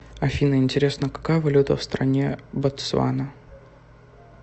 афина интересно какая валюта в стране ботсвана